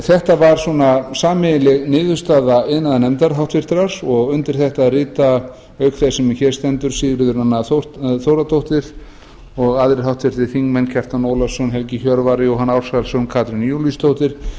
þetta var svona sameiginleg niðurstaða iðnaðarnefndar háttvirtur og undir þetta rita auk þess sem hér stendur sigríður a þórðardóttir og aðrir háttvirtur þingmaður kjartan ólafsson helgi hjörvar jóhann ársælsson katrín júlíusdóttir